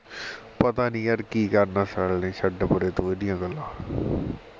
ਪਤਾ ਨਹੀ ਯਾਰ ਕਿ ਕਰਨਾ ਸਾਲੇ ਨੇ ਛੱਡ ਪਰੇ ਤੂੰ ਉਹਦੀਆਂ ਗੱਲਾਂ